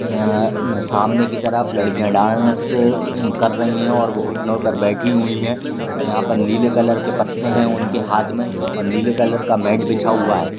नह न सामने की तरफ लड़किया डान्स कर रही है और वो घुटनो पर बैठी हुई है और यहाँ पर नीले कलर के पत्ते है उनके हाथ मे और नीले कलर का मॅट बिछा हुआ है।